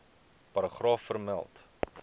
paragraaf vermeld